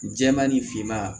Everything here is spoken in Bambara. Jɛman ni finman